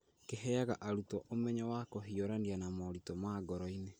Kĩheaga arutwo umenyo wa kũhiũrania na moritũ ma ngoro-inĩ.